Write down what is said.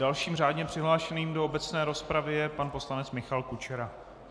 Dalším řádně přihlášeným do obecné rozpravy je pan poslanec Michal Kučera.